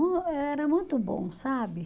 Era muito bom, sabe?